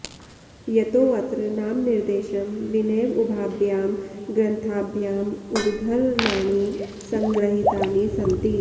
यतोऽत्र नामनिर्देशं विनैव उभाभ्यां ग्रन्थाभ्याम् उद्धरणानि सङ्गृहीतानि सन्ति